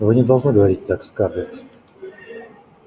вы не должны говорить так скарлетт